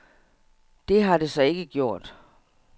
Det har det så ikke gjort.